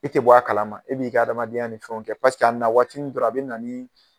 I tɛ bɔ a kalama e b'i ka adamadenya ni fɛnw kɛ a nawaatinin dɔrɔn a bɛ na ni